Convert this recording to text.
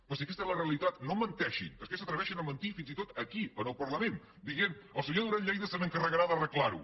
però si aquesta és la realitat no menteixin és que s’atreveixen a mentir fins i tot aquí en el parlament dient el senyor duran lleida s’encarregarà d’arreglar ho